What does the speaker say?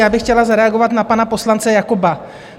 Já bych chtěla zareagovat na pana poslance Jakoba.